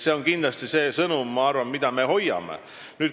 See on kindlasti see sõnum, mida me hoiame.